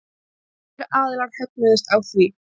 Báðir aðilar högnuðust á því.